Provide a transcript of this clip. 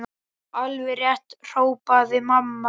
Já, alveg rétt hrópaði mamma.